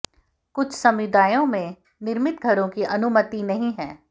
कुछ समुदायों में निर्मित घरों की अनुमति नहीं है